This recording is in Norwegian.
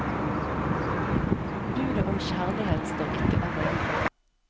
Budet om kjærlighet står ikke alene.